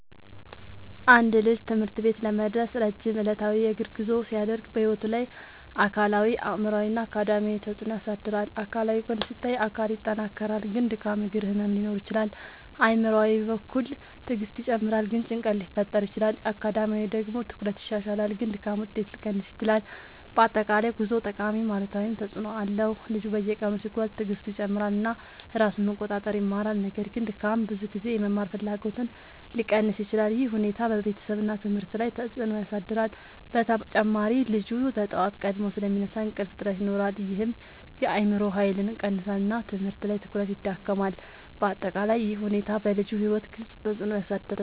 አንድ ልጅ ትምህርት ቤት ለመድረስ ረጅም ዕለታዊ የእግር ጉዞ ሲያደርግ በሕይወቱ ላይ አካላዊ አእምሯዊ እና አካዳሚያዊ ተፅዕኖ ያሳድራል። አካላዊ ጎን ሲታይ አካል ይጠናከራል ግን ድካም እግር ህመም ሊኖር ይችላል። አእምሯዊ በኩል ትዕግስት ይጨምራል ግን ጭንቀት ሊፈጠር ይችላል። አካዳሚያዊ ደግሞ ትኩረት ይሻሻላል ግን ድካም ውጤት ሊቀንስ ይችላል። በአጠቃላይ ጉዞው ጠቃሚም አሉታዊም ተፅዕኖ አለው። ልጁ በየቀኑ ሲጓዝ ትዕግስቱ ይጨምራል እና ራሱን መቆጣጠር ይማራል። ነገር ግን ድካም ብዙ ጊዜ የመማር ፍላጎትን ሊቀንስ ይችላል። ይህ ሁኔታ በቤተሰብ እና ትምህርት ላይ ተጽዕኖ ያሳድራል። በተጨማሪ ልጁ በጠዋት ቀድሞ ስለሚነሳ እንቅልፍ እጥረት ይኖራል ይህም የአእምሮ ኃይልን ይቀንሳል እና ትምህርት ላይ ትኩረት ይዳክማል። በአጠቃላይ ይህ ሁኔታ በልጁ ሕይወት ግልጽ ተፅዕኖ ያሳድራል።